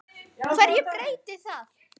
HVERJU BREYTIR ÞAÐ?